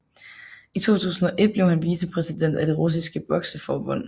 I 2001 blev han vicepræsident af det russiske bokseforbund